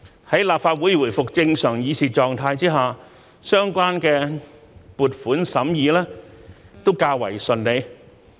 在立法會回復正常議事狀態下，相關撥款審議也較為順利。